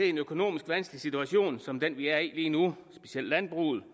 i en økonomisk vanskelig situation som den vi er i lige nu specielt landbruget